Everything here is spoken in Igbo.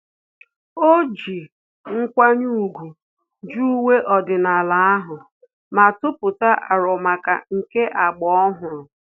Ọ ji nkwanye ùgwù jụ uwe ọdịnala ahụ, ma tụpụta arọ maka nke agba ọhụrụ